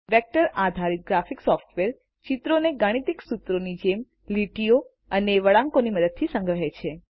vector આધારિત graphic software ચિત્રોને ગાણિતિક સૂત્રોની જેમ લીટીઓ અને વળાંકોની મદદથી સંગ્રહે છે